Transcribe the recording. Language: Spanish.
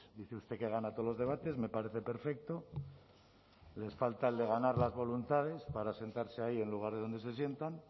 dice usted que gana todos los debates me parece perfecto les falta el de ganar las voluntades para sentarse ahí en lugar de donde se sientan